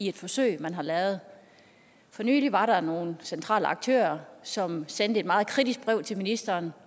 et forsøg man har lavet for nylig var der nogle centrale aktører som sendte et meget kritisk brev til ministeren